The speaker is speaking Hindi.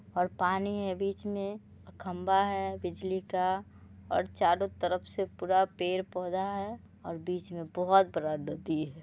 और पानी है बीच मे खंभा है बिजली का और चारों तरफ से पूरा पेड़-पौधा है और बीच मे बहोत बड़ा नदी है।